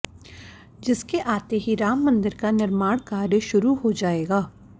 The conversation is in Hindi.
जिसके आते ही राम मंदिर का निर्माण कार्य शुरू हो जाएगा